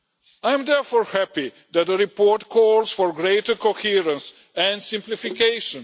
I am therefore happy that the report calls for greater coherence and simplification.